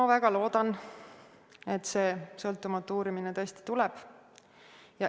Ma väga loodan, et see sõltumatu uurimine tõesti tuleb.